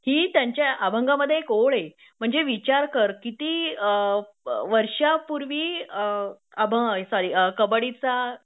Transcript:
हि त्यांच्या अभंगामध्ये एक ओळ आहे म्हणजे विचार कर किती वर्षांपूर्वी अ सॉरी कबड्डी चा